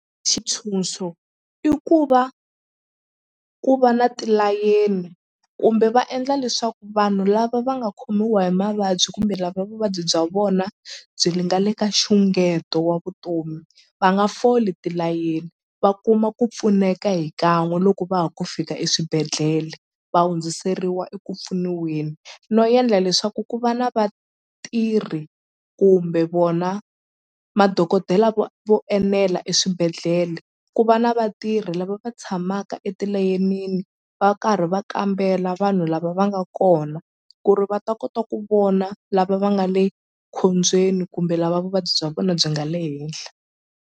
Xitshunxo i ku va ku va na tilayeni kumbe va endla leswaku vanhu lava va nga khomiwa hi mavabyi kumbe lava vuvabyi bya vona byi li nga le ka nxungeto wa vutomi va nga foli tilayeni va kuma ku pfuneka hi kan'we loko va ha ku fika eswibedhlele va hundziseriwa eku pfuniweni no endla leswaku ku va na vatirhi kumbe vona madokodela vo vo enela eswibedhlele ku va na vatirhi lava va tshamaka etilayenini va karhi va kambela vanhu lava va nga kona ku ri va ta kota ku vona lava va nga le khombyeni kumbe lava vuvabyi bya vona byi nga le henhla.